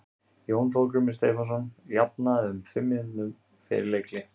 Jón Þorgrímur Stefánsson jafnaði um fimm mínútum fyrir leikhlé.